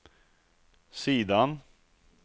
sidan